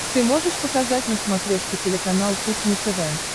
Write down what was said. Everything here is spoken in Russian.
ты можешь показать на смотрешке телеканал кухня тв